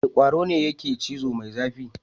Wane kwaro ne yake cizo mai zafi?